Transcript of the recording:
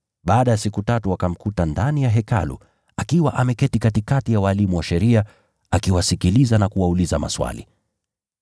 Baada ya siku tatu wakamkuta ndani ya Hekalu, akiwa ameketi katikati ya walimu wa sheria, akiwasikiliza na kuwauliza maswali.